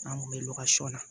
An kun bɛ na